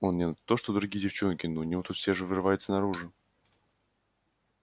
она не то что другие девчонки у нее тут же все вырывается наружу